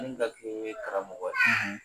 Mun ka girin o ye karamɔgɔ ye!